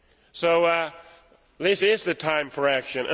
So this is the time for action.